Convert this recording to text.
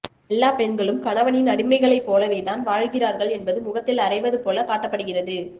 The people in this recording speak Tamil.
எல்லாப் பெண்களும் கணவனின் அடிமைகளைப் போலவே தான் வாழ்கிறார்கள் என்பது முகத்தில் அறைவது போலக் காட்டப்படுகிறது